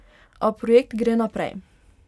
A projekt gre naprej.